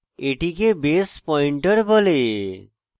এটিকে base pointer বলে